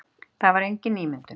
Það var engin ímyndun.